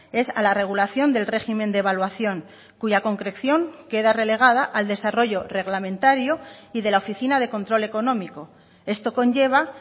es a la regulación del régimen de evaluación cuya concreción queda relegada al desarrollo reglamentario y de la oficina de control económico esto conlleva